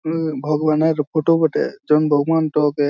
উমম ভগবানের ফটো বটে জন্ত মন্ত কে --